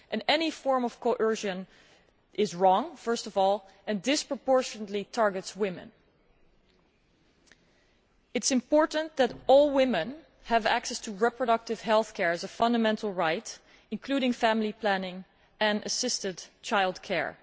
Any form of coercion is wrong, first of all, and disproportionately targets women. It is important that all women have access to reproductive health care as a fundamental right, including family planning and assisted childcare.